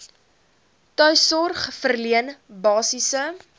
tuissorg verleen basiese